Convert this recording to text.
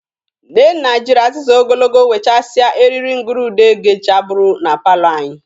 Nnenna jiri aziza ogologo wechasịa eriri ngurude gechabụrụ na palọ anyị.